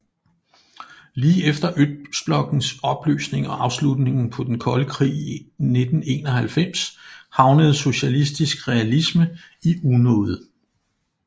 Lige efter Østblokkens opløsning og afslutningen på Den Kolde Krig i 1991 havnede socialistisk realisme i unåde